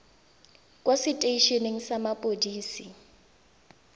kwa setei eneng sa mapodisi